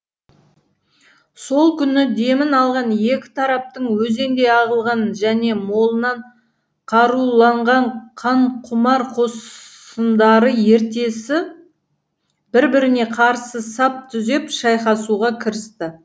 сол күні демін алған екі тараптың өзендей ағылған және молынан қаруланған қанқұмар қосындары ертесі бір біріне қарсы сап түзеп шайқасуға кірісті